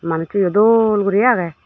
manujso yo dol gori age.